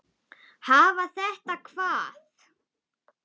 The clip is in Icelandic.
Hafa þetta hvað?